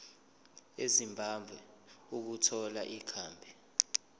ezimbabwe ukuthola ikhambi